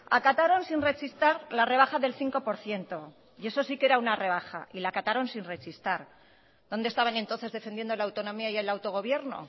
acataron sin rechistar la rebaja del cinco por ciento y eso sí que era una rebaja y la acataron sin rechistar dónde estaban entonces defendiendo la autonomía y el autogobierno